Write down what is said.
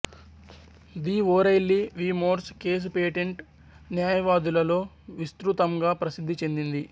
the O'Reilly v Morse case patent న్యాయవాదులలో విస్తృతంగా ప్రసిద్ధి చెందింది